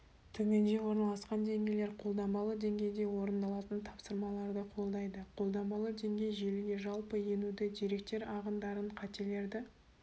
төменде орналасқан деңгейлер қолданбалы деңгейде орындалатын тапсырмаларды қолдайды қолданбалы деңгей желіге жалпы енуді деректер ағындарын қателерді